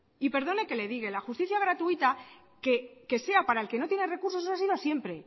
y perdone que le diga la justicia gratuita que sea para el que no tiene recursos eso ha sido siempre